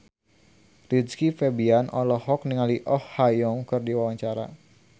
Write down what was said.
Rizky Febian olohok ningali Oh Ha Young keur diwawancara